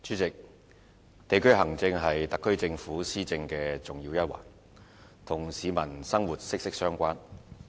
代理主席，地區行政是特區政府施政的重要一環，與市民的生活息息相關。